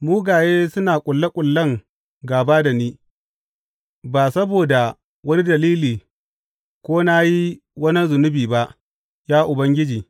Mugaye suna ƙulle ƙullen gāba da ni ba saboda wani dalili ko na yi wa wani zunubi ba, ya Ubangiji.